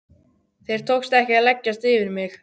Þér tókst ekki að leggjast yfir mig.